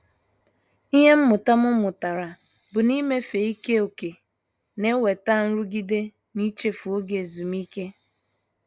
Ịhe mmụta m mụtara bụ na- ịmefe ike ókè na-enweta nrụgide na-ichefu oge ezumike.